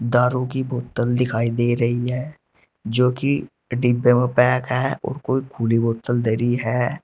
दारू की बोतल दिखाई दे रही है जोकि डिब्बे में पैक है और कोई खुली बोतल धरी है।